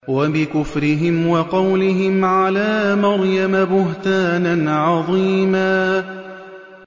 وَبِكُفْرِهِمْ وَقَوْلِهِمْ عَلَىٰ مَرْيَمَ بُهْتَانًا عَظِيمًا